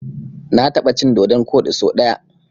Na taɓa cin dodon koɗi so ɗaya.